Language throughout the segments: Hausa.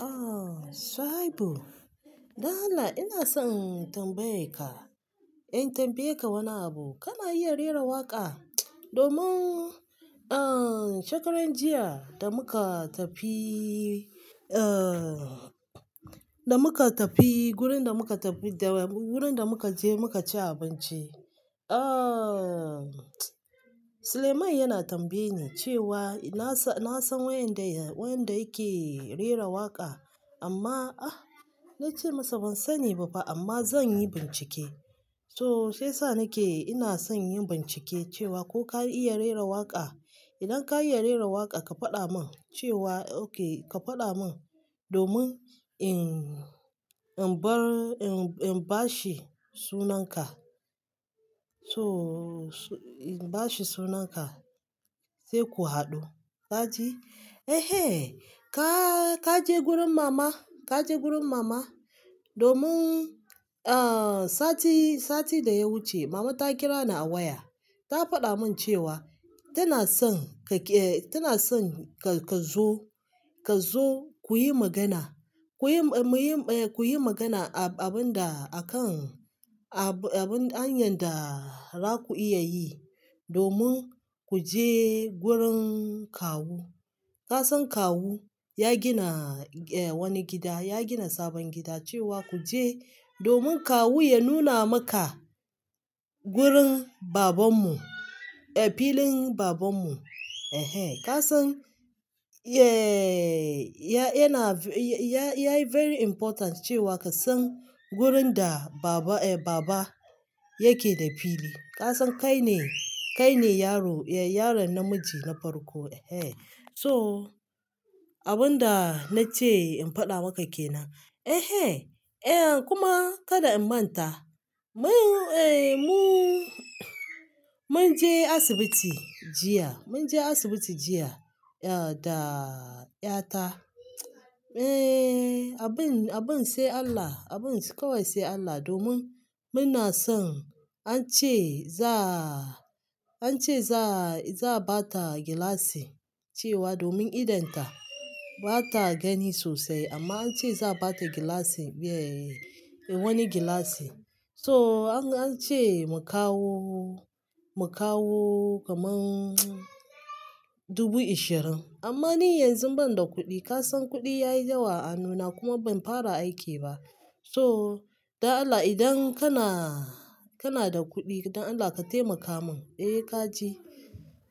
Ah, Shuaibu, Dan Allah ina son in tambaye ka, in tambaye ka wani abu. Kana iya rera waƙa? Domin, ah, shekaran jiya da muka tafi, eh, da muka tafi gurin da muka tafi da wurin da muka je muka ci abinci, ah, Suleiman yana tambaye ni cewa ina sa-- na san waenda yake rera waƙa amma, ah, na ce masa ban sani ba fa amma zan yi bincike. So sai sa nake ina son yin bincike cewa ko ka iya rera waƙa. Idan ka iya rera waƙa ka faɗa mun cewa, okay, ka faɗa mun domin in bar-- in ba shi sunan ka. So in ba shi sunan ka sai ku haɗu, ka ji? Ehen, ka ka je gurin mama? Kaje gurin mama? Domin sati da ya wuce, mama ta kira ni a waya ta faɗa mun cewa tana son ka ke-- tana son ka zo, ka zo kuyi magana. Kuyi, muyi, eh, kuyi magana abin da akan abun hanyar da zaku iya yi domin ku je gurin kawu. Kasan kawu ya gina, eh, wani gida, ya gina sabon gida cewa ku je domin kawu ya nuna maka gurin baban mu, eh, filin baban mu, ehen, ka san? Eh, ya, yana, ya yi very important cewa ka san gurin da baba, eh, baba yake da fili. Kasan kai ne, kai ne yaro, eh, yaron namiji na farko, eh. So abun da na ce in faɗa maka kenan. Ehe, eh kuma kada in manta. Mun, eh, mun je asibiti jiya, mun je asibiti jiya, eh, da ƴa ta. Eh, abin, abin sai Allah, abin kawai sai Allah domin muna son an ce za, an ce za, za a ba ta gilashi cewa domin idon ta bata gani sosai amma an ce za a ba ta gilashi, eh, wani gilashi. So an ce mu kawo, mu kawo kaman dubu ishirin. Amma ni yanzu ban da kuɗi. Kasan kuɗi yayi dawa a nuna kuma ban fara aiki ba. So dan Allah idan kana, kana da kuɗi dan Allah ka taimaka mun. Eh kaji?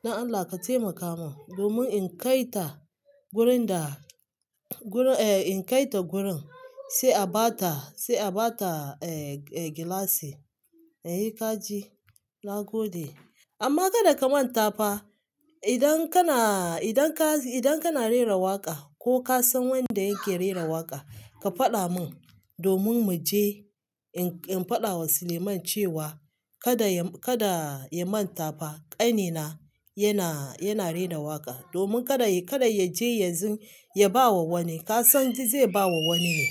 Dan Allah ka taimaka mun domin in kai ta wurin da, gurin, eh, in kai ta gurin sai a ba ta, sai a ba ta, eh, gilashi. E, kaji? Na gode, amma kada ka manta fa. Idan kana rera waka ko ka san wanda yake rera waka ka fada mun in faɗa ma Suleiman cewa kada ya, kada ya manta fa ƙanina yana, yana rera waƙa domin kada ya, kada ya je ya ba wa wani. Kasan zai ba wa wani ne.